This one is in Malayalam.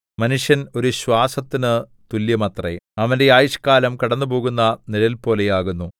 മനുഷ്യൻ ഒരു ശ്വാസത്തിനു തുല്യമത്രെ അവന്റെ ആയുഷ്കാലം കടന്നുപോകുന്ന നിഴൽപോലെയാകുന്നു